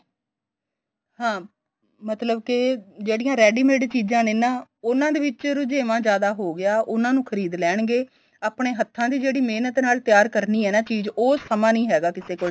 ਹਾਂ ਮਤਲਬ ਕੇ ਜਿਹੜੀਆਂ ready made ਚੀਜ਼ਾਂ ਨੇ ਉਨ੍ਹਾਂ ਦੇ ਵਿੱਚ ਰੁਜੇਵਾ ਜਿਆਦਾ ਹੋ ਗਿਆ ਉਨ੍ਹਾਂ ਨੂੰ ਖਰੀਦ ਲੈਣਗੇ ਆਪਣੀ ਹੱਥਾ ਜਿਹੜੀ ਮਹਿਨਤ ਨਾਲ ਤਿਆਰ ਕਰਨੀ ਏ ਨਾ ਚੀਜ਼ ਉਹ ਸਮਾ ਨੀਂ ਹੈਗਾ ਕਿਸੇ ਕੋਲ